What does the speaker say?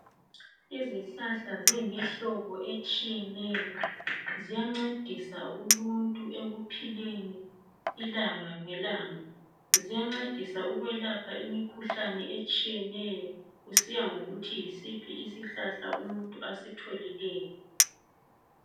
Izihlahla ziyimihlobo etshiyeneyo ziyancedisa uluntu ekuphileni ilanga ngelanga, ziyancedisa ukwelapha imikhuhlane ehlukeneyo kusiya ngokuthi yisiphi isihlahla umuntu asitholileyo.